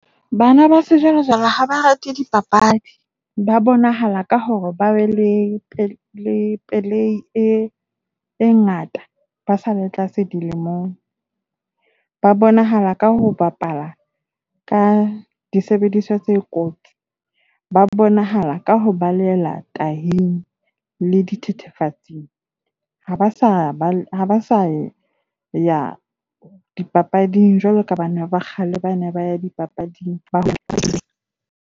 Bana ba sejwale-jwale ha ba rate dipapadi. Ba bonahala ka hore ba be le le pelei e ngata ba sa le tlase dilemong. Ba bonahala ka ho bapala ka disebediswa tse kotsi. Ba bonahala ka ho baleela taying le dithethefatsing. Ha ba sa ya dipapading jwalo ka bana ba kgale bane baya dipapading.